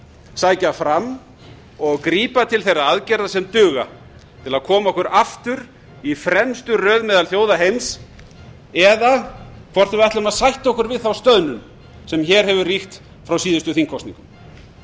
sækja fram og grípa til þeirra aðgerða sem duga til að koma okkur aftur í fremstu röð meðal þjóða heims eða hvort við ætlum að sætta okkur við þá stöðnum sem hér hefur ríkt frá síðustu þingkosningum